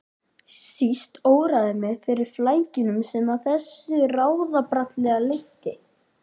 Síst óraði mig fyrir flækjunum sem af þessu ráðabralli leiddi.